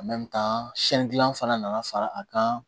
gilan fana nana fara a kan